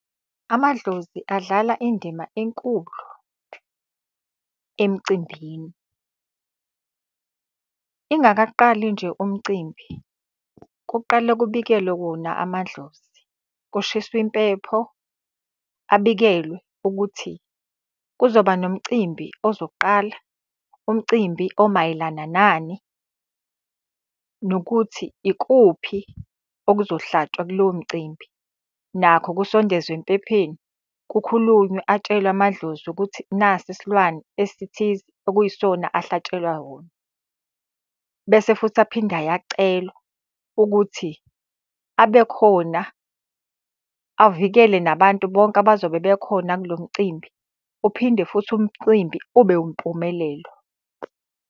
Amadlozi adlala indima enkulu emcimbini. Ingakaqali nje umcimbi kuqale kubikelwe wona amadlozi, kushiswe impepho, abikelwe ukuthi kuzoba nomcimbi ozoqala, umcimbi omayelana nani. Nokuthi ikuphi okuzohlatshwa kulowo mcimbi nakho kusondezwe empepheni, kukhulunywe atshelwe amadlozi ukuthi nasi isilwane esithize okuyisona ahlatshelwa wona. Bese futhi aphinde ayacelwa ukuthi abekhona avikele nabantu bonke abazobe bekhona kulo mcimbi, uphinde futhi umcimbi ube wumpumelelo.